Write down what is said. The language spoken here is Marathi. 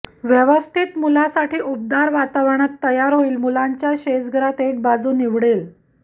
व्यवस्थित मुलासाठी उबदार वातावरण तयार होईल मुलांच्या शेजघरात एक बाजू निवडले